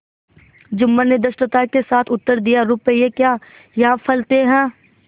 जुम्मन ने धृष्टता के साथ उत्तर दियारुपये क्या यहाँ फलते हैं